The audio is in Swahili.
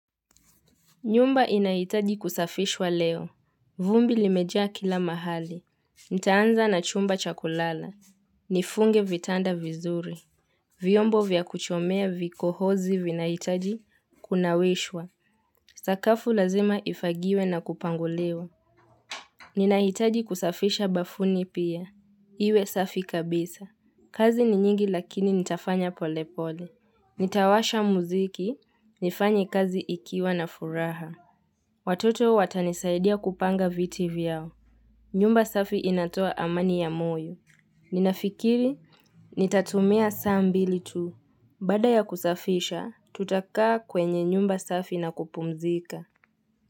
Nyumba inahitaji kusafishwa leo. Vumbi limejaa kila mahali. Nitaanza na chumba cha kulala. Nifunge vitanda vizuri. Vyombo vya kuchomea vikohozi vinahitaji kunawishwa. Sakafu lazima ifagiwe na kupanguliwa. Ninahitaji kusafisha bafuni pia. Iwe safi kabisa. Kazi ni nyingi lakini nitafanya polepole. Nitawasha muziki. Nifanye kazi nikiwa na furaha. Watoto watanisaidia kupanga viti vyao. Nyumba safi inatoa amani ya moyo. Ninafikiri nitatumia saa mbili tu. Baada ya kusafisha, tutakaa kwenye nyumba safi na kupumzika.